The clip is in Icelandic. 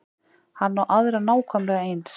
Hann á aðra nákvæmlega eins.